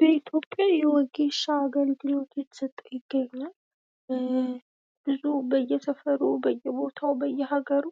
በኢትዮጵያ የወጌሻ አገልግሎት እየተሰጠ ይገኛል ። በብዙ የሰፈሩ ፣ በየቦታው፣ በየሀገሩ